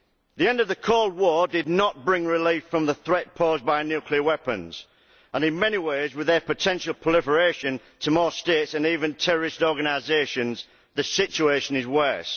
The end of the Cold War did not bring relief from the threat posed by nuclear weapons and, in many ways, with their potential proliferation to more States and even terrorist organisations, the situation is worse.